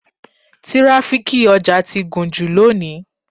Tíráfíkì ọjà ti gùn jù lónìí.